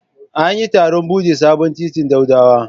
An yi taron bude sabon titin Daudawa.